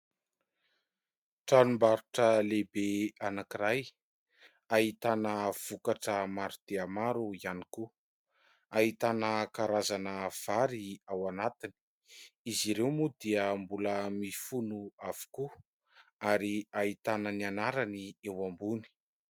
Tranombarotra lehibe anankiray ahitana vokatra maro dia maro ihany koa, ahitana karazana vary ao anatiny, izy ireo moa dia mbola mifono avokoa ary ahitana ny anarany eo ambony.